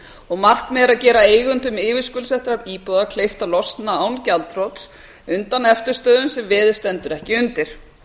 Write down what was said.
og markmiðið er að gera eigendum yfirskuldsettra íbúða kleift að losna án gjaldþrots undan eftirstöðvum sem veðið stendur ekki undir